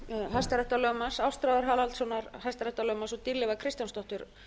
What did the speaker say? hæstaréttarlögmanns ástráðs haraldssonar hæstaréttarlögmanns og dýrleifar kristjánsdóttur